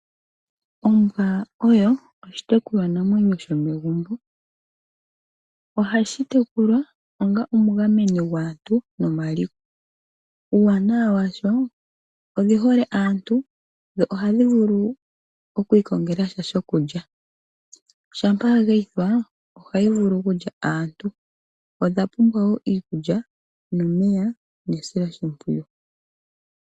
Ombwa oshitekulwa namwenyo shomegumbo ohashi tekulwa onga omugameni gwaantu nomaliko. Uuwanawa wadho odhi hole aantu nohadhi vulu okwiikongelasha shokulya, shampa ya geyithwa ohayi vulu okulya aantu. Odha pumbwa iikulya, omeya nesiloshipwiyu.